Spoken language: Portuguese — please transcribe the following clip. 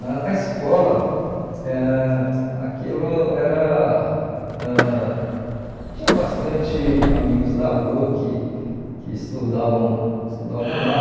Na na escola, ãh aquilo era ãh tinha bastante amigos da rua que que estudavam estudavam lá.